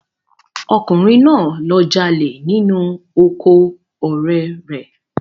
Ọkùnrin náà lọ jalè nínú oko ọ̀rẹ́ rẹ